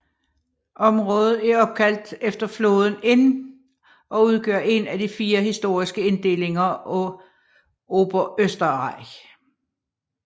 Området er opkaldt efter floden Inn og udgør én af fire historiske inddelinger af Oberösterreich